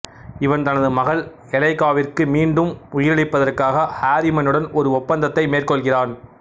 இவன் தனது மகள் எலைக்காவிற்கு மீண்டும் உயிரளிப்பதற்காக ஆரிமனுடன் ஒரு ஒப்பந்தத்தை மேற்கொள்கிறான்